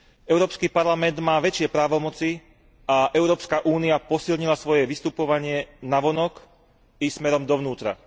Európsky parlament má väčšie právomoci a Európska únia posilnila svoje vystupovanie navonok i smerom dovnútra.